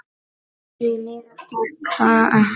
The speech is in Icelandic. Því miður gekk það ekki.